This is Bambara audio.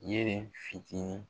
Yeli fitini